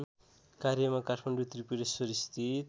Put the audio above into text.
कार्यमा काठमाडौ त्रिपुरेश्वरस्थित